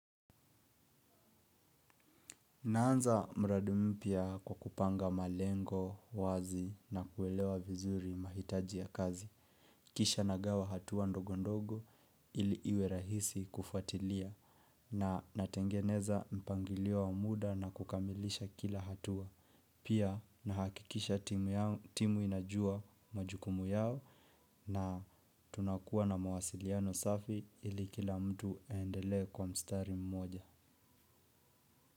Naanza mradi mpia kwakupanga malengo, wazi na kuelewa vizuri mahitaji ya kazi. Kisha nagawa hatuwa ndogo ndogo ili iwerahisi kufatilia na natengeneza mpangilio wa muda na kukamilisha kila hatua. Pia nahakikisha timu inajua majukumu yao na tunakuwa na mawasiliano safi ili kila mtu aendelee kwa mstari mmoja.